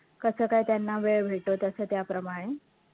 कसं काय त्यांना वेळ भेटतो, तसं त्याप्रमाणे